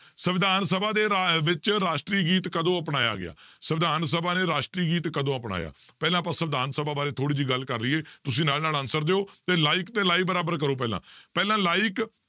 ਸਵਿਧਾਨ ਸਭਾ ਦੇ ਰਾ~ ਵਿੱਚ ਰਾਸ਼ਟਰੀ ਗੀਤ ਕਦੋਂ ਅਪਣਾਇਆ ਗਿਆ, ਸਵਿਧਾਨ ਸਭਾ ਨੇ ਰਾਸ਼ਟਰੀ ਗੀਤ ਕਦੋਂ ਅਪਣਾਇਆ ਪਹਿਲਾਂ ਆਪਾਂ ਸਵਿਧਾਨ ਸਭਾ ਬਾਰੇ ਥੋੜ੍ਹੀ ਜਿਹੀ ਗੱਲ ਕਰ ਲਈਏ ਤੁਸੀਂ ਨਾਲ ਨਾਲ answer ਦਿਓ ਤੇ like ਤੇ live ਬਰਾਬਰ ਕਰੋ ਪਹਿਲਾਂ ਪਹਿਲਾਂ like